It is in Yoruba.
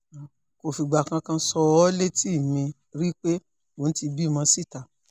kò fìgbà kankan sọ ọ́ létí mi rí pé òun ti bímọ síta